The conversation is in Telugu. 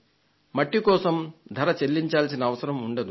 మట్టి కోసం ధర చెల్లించాల్సిన అవసరం ఉండదు